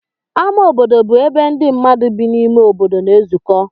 Ámá obodo bụ ebe ndị mmadụ bi n'ime obodo na-ezukọ.